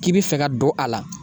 K'i bi fɛ ka don a la